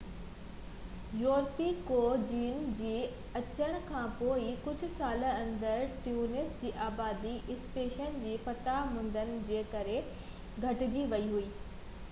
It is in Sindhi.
يورپي کوجين جي اچڻ کانپوءِ ڪجهه سالن اندر ، ٽينوس جي آبادي اسپين جي فتح مندن جي ڪري گهٽجي وئي هئي